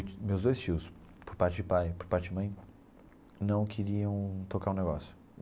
Meus dois tios, por parte de pai e por parte de mãe, não queriam tocar o negócio.